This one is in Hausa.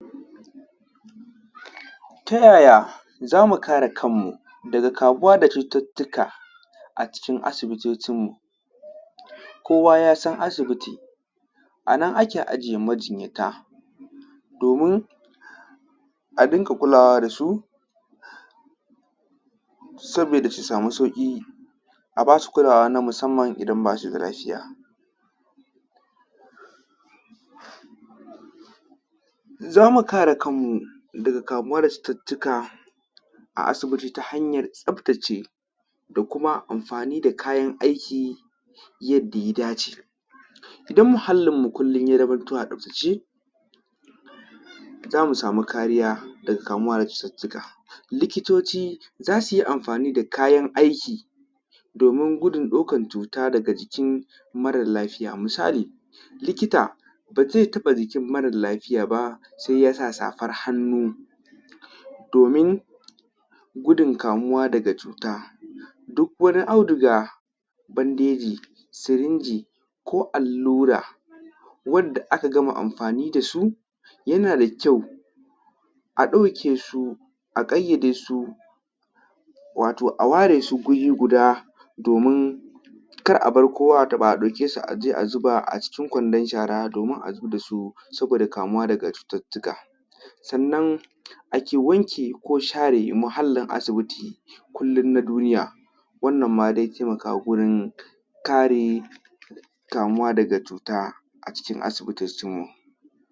Ta yaya zamu kare kan mu daga kamuwa da cututtuka a cikin asibitocin mu, kowa ya san asibiti anan ake ajiye majinyata domin a rinƙa kulawa da su saboda su samu sauƙi a basu kulawa ta musamman idan basu da lafiya zamu kare kan mu daga kamuwa da cututtuka a asibiti ta hanyar tsaftace da kuma amfani da kayan aiki yadda ya dace, idan muhallin mu kullum ya zamanto a tsaftace zamu samu kariya daga kamuwa da cututtuka likitoci za suyi amfani da kayan aiki domin gudun ɗaukan cuta daga jikin mara lafiya, misali likita bazai taɓa jikin mara lafiya ba sai ya sa safar hannu, domin gudun kamuwa daga cuta duk wani auduga bandeji sirinji ko allura wadda aka gama amfani da su, yana da kyau a ɗauke su a ƙayyade su wato a ware su guri guda domin kar abar kowa ya taɓa a ɗauke su a je a zuba a cikin kwandon shara, domin a zubda su saboda kamuwa daga cututtuka sannan ake wanke ko share muhallin asibiti, kullum na duniya wannan ma zai taimaka wurin kare kamuwa daga cuta acikin asibitocin mu.